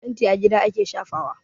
Fenti a gida ake shafawa.